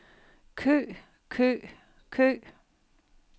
kø kø kø